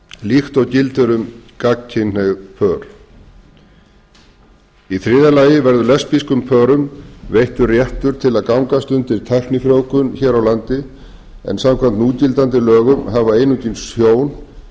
líkt og gildir um gagnkynhneigð pör þriðja lesbískum pörum verður veittur réttur til að gangast undir tæknifrjóvgun hér á landi en samkvæmt núgildandi lögum hafa einungis hjón